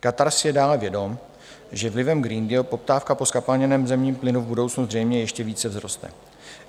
Katar si je dále vědom, že vlivem Green Dealu poptávka po zkapalněném zemním plynu v budoucnu zřejmě ještě více vzroste.